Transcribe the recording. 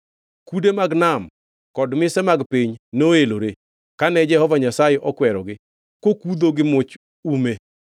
Kude mag nam kod mise mag piny noelore, kane Jehova Nyasaye okwerogi kokudho gi much ume.